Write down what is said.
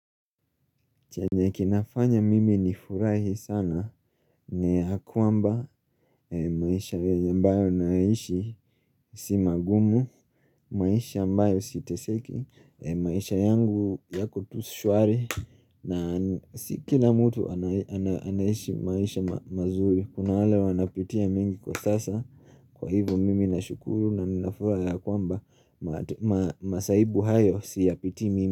Chenye kinafanya mimi nifurahi sana ni ya kwamba maisha ambayo naishi si magumu maisha ambayo siteseki maisha yangu yako tu shwari na si kila mtu anaishi maisha mazuri. Kuna wale wanapitia mengi kwa sasa. Kwa hivo mimi nashukuru na nafura ya kwamba masahibu hayo siyapitii mimi.